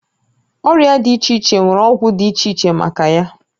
Ọrịa dị iche iche nwere ọgwụ dị iche iche maka ya